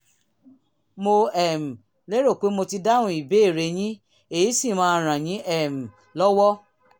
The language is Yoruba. mo um lérò pé mo ti dáhùn ìbéèrè yín èyí sì máa ràn yín um lọ́wọ́